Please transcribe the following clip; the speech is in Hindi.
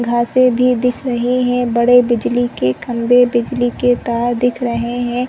घासे भी दिख रही है बड़े बिजली के खंबे बिजली के तार दिख रहे है।